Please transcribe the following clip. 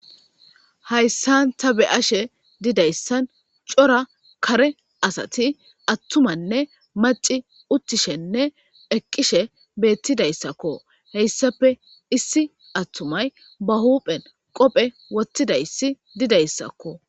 hayssan ta be ashe didayssan cora kare asati attumanne maci uttishenne eqqishe beettidayssakko heyssape issi attumay ba huphen qophe wottidayssi didayssakko